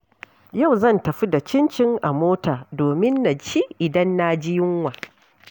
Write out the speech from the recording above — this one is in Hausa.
Yau zan tafi da cincin a mota domin na ci idan na ji yunwa.